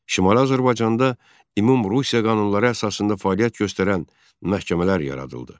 Şimali Azərbaycanda Ümumrusiya qanunları əsasında fəaliyyət göstərən məhkəmələr yaradıldı.